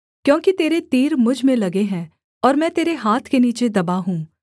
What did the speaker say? क्योंकि तेरे तीर मुझ में लगे हैं और मैं तेरे हाथ के नीचे दबा हूँ